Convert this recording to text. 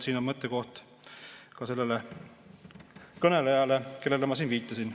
Siin on mõttekoht ka sellele kõnelejale, kellele ma viitasin.